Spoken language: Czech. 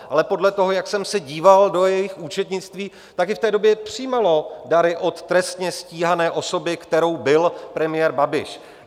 Ale podle toho, jak jsem se díval do jejich účetnictví, tak i v té době přijímalo dary od trestně stíhané osoby, kterou byl premiér Babiš.